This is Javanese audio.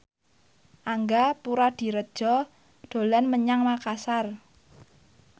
Angga Puradiredja dolan menyang Makasar